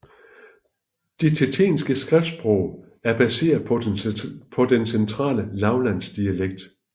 Det tjetjenske skriftsprog er baseret på den centrale lavlandsdialekt